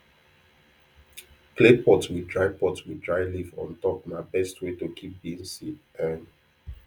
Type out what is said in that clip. clay pot with dry pot with dry leaf on top na best way to keep beans seed um